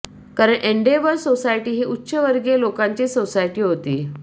कारण endeavour society ही उच्चवर्गीय लोकांचीच सोसायटी होती